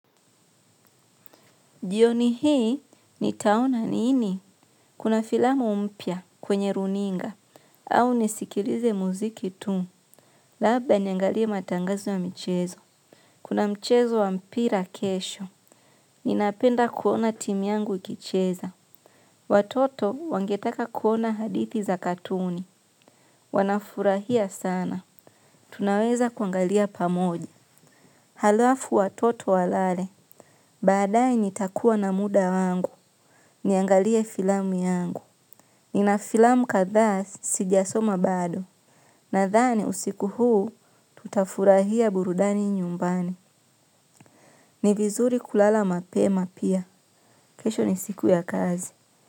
Jioni hii, nitaona nini? Kuna filamu mpia kwenye runinga, au nisikilize muziki tu. Labda niangalie matangazo ya michezo. Kuna mchezo wa mpira kesho. Ninapenda kuona timi yangu ikicheza. Watoto wangetaka kuona hadithi za katuni. Wanafurahia sana. Tunaweza kuangalia pamoja. Halafu watoto walale. Baadaye nitakuwa na muda wangu. Niangalie filamu yangu. Ninafilamu kadhaa sijasoma bado. Nadhaani usiku huu tutafurahia burudani nyumbani. Ni vizuri kulala mapema pia. Kesho ni siku ya kazi.